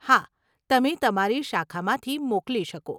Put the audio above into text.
હા, તમે તમારી શાખામાંથી મોકલી શકો.